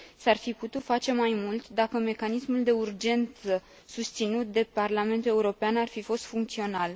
S ar fi putut face mai mult dacă mecanismul de urgență susținut de Parlamentul European ar fi fost funcțional.